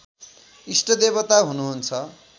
इष्टदेवता हुनु हुन्छ